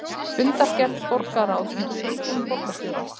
Fundargerð borgarráðs með tillögum borgarstjóra